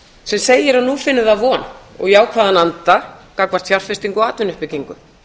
sem segir að nú finni það von og jákvæðan anda gagnvart fjárfestingu og atvinnuuppbyggingu